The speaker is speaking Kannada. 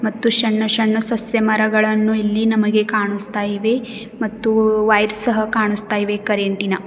ಮತ್ತು ಶಣ್ಣ ಶಣ್ಣ ಸಸ್ಯ ಮರಗಳನ್ನು ಇಲ್ಲಿ ನಮಗೆ ಕಾಣುಸ್ತಾ ಇವೆ ಮತ್ತು ವೈಟ್ ಸಹ ಕಾಣುಸ್ತಾ ಇವೆ ಕರೆಂಟ್ ಇನ.